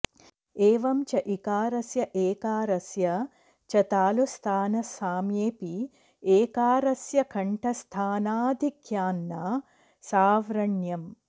एवं च इकारस्य एकारस्य च तालुस्थानसाम्येऽपि एकारस्य कण्ठस्थानाधिक्यान्न सावण्र्यम्